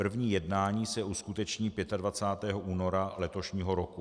První jednání se uskuteční 25. února letošního roku.